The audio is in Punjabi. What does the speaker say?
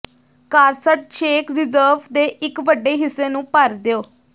ਕਾਰਸਟ ਛੇਕ ਰਿਜ਼ਰਵ ਦੇ ਇੱਕ ਵੱਡੇ ਹਿੱਸੇ ਨੂੰ ਭਰ ਦਿਓ